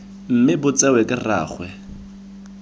mme bo tsewe ke rraagwe